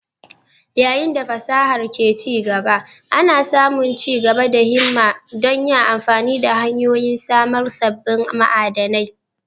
Yayin da fasahar ke ci gaba, ana samun ci gaba da himma don yin amfani da hanyoyin samar sabbin ma'adanai